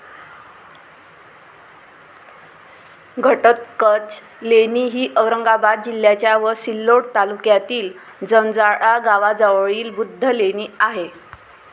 घटोत्कच लेणी ही औरंगाबाद जिल्ह्याच्या व सिल्लोड तालुक्यातील जंजाळा गावाजवळील बुद्ध लेणी आहे.